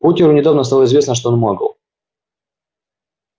поттеру недавно стало известно что он магл